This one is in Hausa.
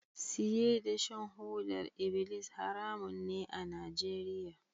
Siye da shan hodar ibilis haramun ne a Nigeria.